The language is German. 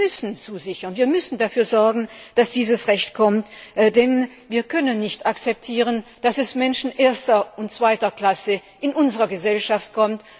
Wir müssen zusichern, wir müssen dafür sorgen, dass dieses Recht kommt, denn wir können nicht akzeptieren, dass es Menschen erster und zweiter Klasse in unserer Gesellschaft gibt.